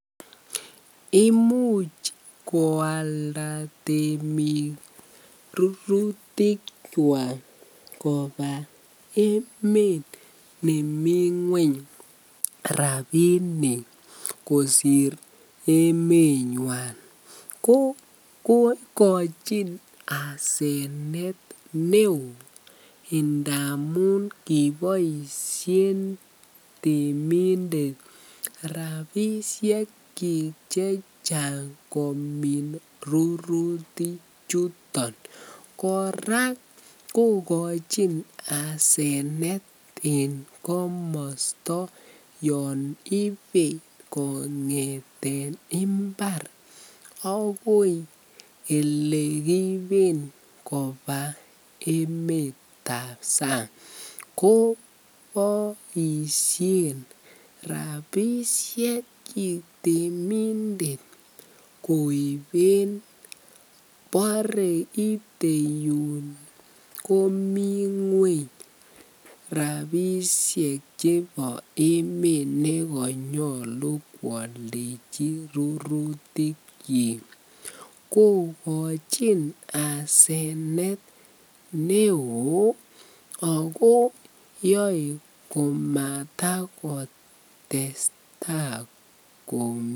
Imuch koalda temik rurutikwak kobaa emet nemingweny rabinik kosir emenywan, ko ikochin asenet neo indamun kiboishen temindet rabishekyik chechang komin ruruti chuton, kora kokochin asenet en komosto yoon ibee kongeten imbar akoii elekiiben kobaa emetab sang koboishen rabishekyik temindet koiben mbore jitee yuun komingweny rabishek chebo emet nekonyolu kwoldechi rurutikyik kokochin asenet neoo ak ko yoee komatakotesta.